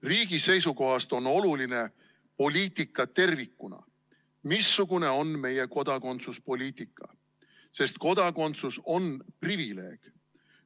Riigi seisukohast on oluline poliitika tervikuna, see, missugune on meie kodakondsuspoliitika, sest kodakondsus on privileeg.